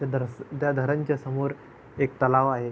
त्या धरण च्या समोर एक तलाव आहे.